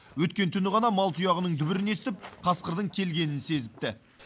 өткен түні ғана мал тұяғының дүбірін естіп қасқырдың келгенін сезіпті